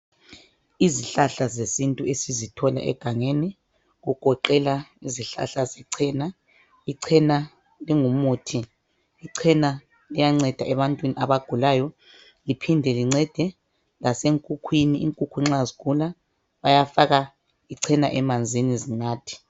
Izihlahla zesintu esizithola egangeni, kugoqela izihlahla zechena ichena lingumuthi, ichena ilyanceda ebantwini abagulayo liphinde lincede lasenkukhwini inkukhu nxa zikhona bayafaka ichena emanzini zinathe.